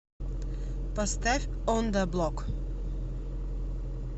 поставь он да блок